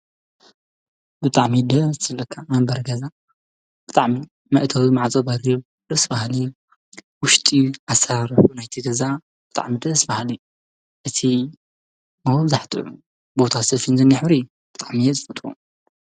ብጣዕሚ ደስ ዝብለካ መንበሪ ገዛ ብጣዕሚ መእተዊ ማዕፆ አዝዩ ደስ በሃሊ ውሽጢ አሰራርሕኡ ናይቲ ገዛ ብጣዕሚ ደስ በሃሊ እዩ፡፡ እቲ መብዛሕትኡ ሞታስቴሽን ዝኒሀ ሕብሪ ብጣዕሚ እየ ዝፈትዎ፡፡